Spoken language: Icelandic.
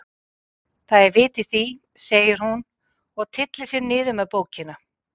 Það er vit í því, segir hún og tyllir sér niður með bókina.